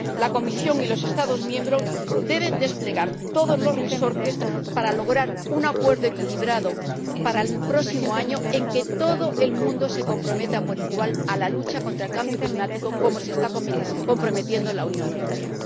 La Comisión y los Estados miembros deben utilizar todos los resortes para lograr un acuerdo equilibrado para el próximo año, en que todo el mundo se comprometa por igual a la lucha contra el cambio climático, como se está comprometiendo la Unión Europea.